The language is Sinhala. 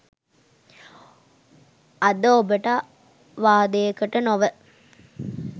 අද ඔබට වාදයකට නොව